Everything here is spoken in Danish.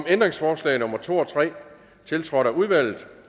ændringsforslag nummer to og tre tiltrådt af udvalget